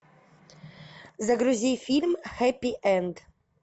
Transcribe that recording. загрузи фильм хеппи энд